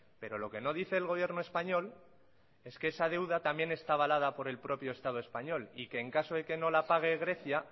pero lo que no dice el gobierno español es que esa deuda también está avalada por el propio estado español y que en caso que no la pague grecia